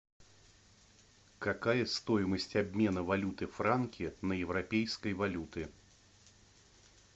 какая стоимость обмена валюты франки на европейской валюты